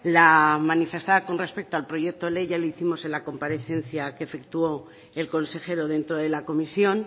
la manifestada con respecto al proyecto ley ya lo hicimos en la comparecencia que efectuó el consejero dentro de la comisión